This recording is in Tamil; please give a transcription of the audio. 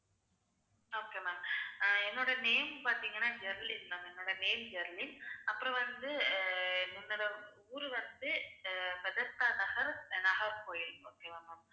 அஹ் என்னோட name பார்த்தீங்கன்னா ஜெர்லின் ma'am என்னோட name ஜெர்லின் அப்புறம் வந்து, அஹ் என்னோட ஊரு வந்து அஹ் பெத்தஸ்டா நகர், நாகர்கோவில் okay வா ma'am